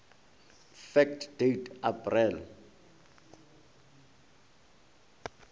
fact date april